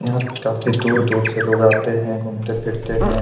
यहाँ पे काफी दूर-दूर से लोग आते हैं और घूमते-फिरते हैं।